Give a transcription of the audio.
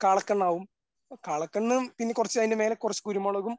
കാള കണ്ണാകും കാള കണ്ണും പിന്നെ കുറച് അതിൻ്റെ മേലെ കുറച്ച് കുരുമുളകും